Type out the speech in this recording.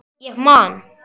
Ég man.